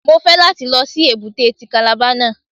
Mo fẹ́ láti lọ sí èbúté ti Kàlàba náà.